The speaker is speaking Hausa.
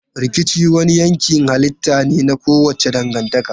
Rikici wani yankin halitta ne na kowace dangantaka.